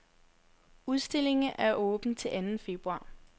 Udstillingen er åben til anden februar.